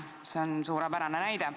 See on suurepärane eeskuju.